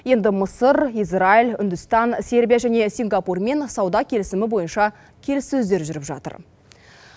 енді мысыр израиль үндістан сербия және сингапурмен сауда келісімі бойынша келіссөздер жүріп жатыр